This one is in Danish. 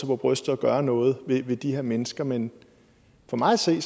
på brystet og gøre noget ved de her mennesker men for mig at se